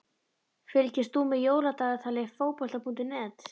Fylgist þú með Jóladagatali Fótbolta.net?